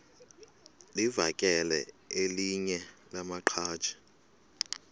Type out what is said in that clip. livakele elinye lamaqhaji